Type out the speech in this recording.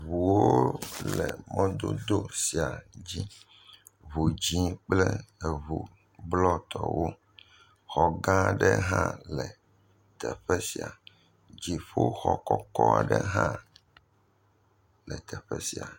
Ŋuwo le mɔdodo sia dzi, ŋu dzɛ̃ kple eŋu blɔtɔwo, xɔ gã aɖe hã le teƒe sia, dziƒoxɔ kɔkɔ aɖe hã le teƒe sia.